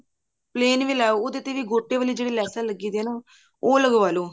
plan ਵੀ ਲੈ ਆਉ ਉਹਦੇ ਤੇ ਜਿਹੜੀ ਗੋਟੇ ਵਾਲੀ ਜਿਹੜੀ ਲੈਸਾਂ ਲੱਗੀਆਂ ਉਹ ਲੱਗਵਾ ਲੋ